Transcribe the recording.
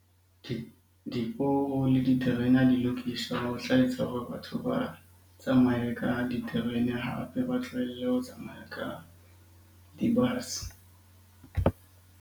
Diporo le diterena ha di lokiswa ho tla etsa hore batho ba tsamaye ka diterene hape. Ba tlohelle ho tsamaya ka di-bus.